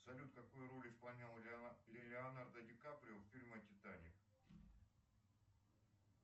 салют какую роль исполнял леонардо ди каприо в фильме титаник